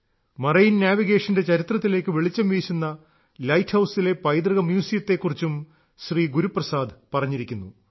marine നാവിഗേഷന്റെ ചരിത്രത്തിലേക്ക് വെളിച്ചം വീശുന്ന ലൈറ്റ് ഹൌസിലെ പൈതൃക മ്യൂസിയത്തെ കുറിച്ചും ശ്രീ ഗുരുപ്രസാദ് പറഞ്ഞിരിക്കുന്നു